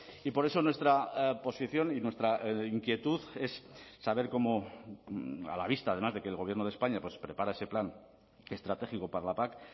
y por eso nuestra posición y nuestra inquietud es saber cómo a la vista además de que el gobierno de españa prepara ese plan estratégico para la pac